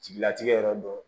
Jigilatigɛ yɔrɔ dɔ